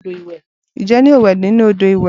Ǹjẹ́ yóò wẹ nínú odò ìwẹ̀?